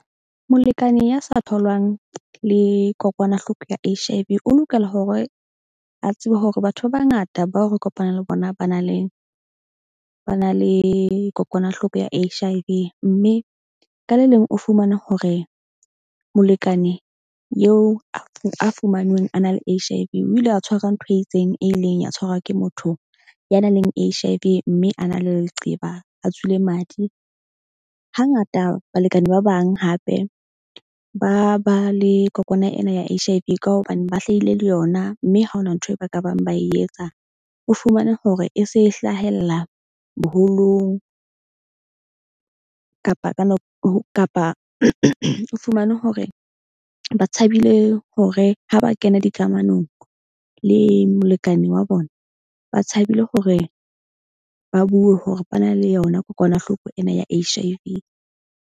Molekane ya sa tholwang le kokwanahloko ya H_I_V o lokela hore a tsebe hore batho ba bangata bao re kopanang le bona ba na le kokwanahloko ya H_I_V. Mme ka le leng o fumane hore molekane eo a fumanweng a na le H_I_V o ile a tshwarwa ntho e itseng e ileng ya tshwarwa ke motho ya nang le H_I_V. Mme a na le leqeba a tswile madi. Hangata balekane ba bang hape ba ba le kokwana ena ya H_I_V ka hobane ba hlahile le yona. Mme ha hona ntho e ba ka bang ba e etsa. O fumane hore e se hlahella boholong kapa ka kapa o fumane hore ba tshabile hore ha ba kena dikamanong le molekane wa bona. Ba tshabile hore ba bue hore ba na le yona kokwanahloko ena ya H_I_V.